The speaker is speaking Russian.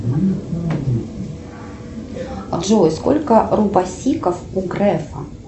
джой сколько рупасиков у грефа